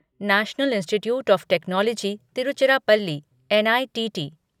national Institute of Technology Tiruchirappalli N I T T